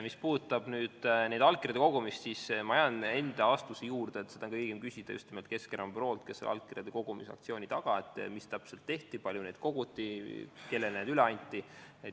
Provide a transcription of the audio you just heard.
Mis puudutab allkirjade kogumist, siis ma jään enda vastuse juurde, et seda on õigem küsida just nimelt Keskerakonna büroolt, kes on allkirjade kogumise aktsiooni taga ja teab, mis täpselt tehti, kui palju neid koguti, kellele need üle anti.